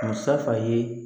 Musafa ye